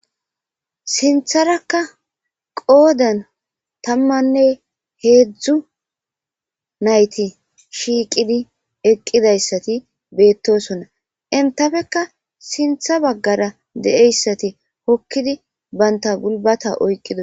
sintharakka qoodan tammanne heedzdzu nayti shiiqidi eqqidayssati beettosonna intafeka sintha baggara de7eyssati hokkidi baynta gulbata oyqqidos